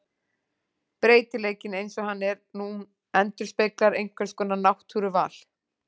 Breytileikinn eins og hann er nú endurspeglar einhvers konar náttúruval.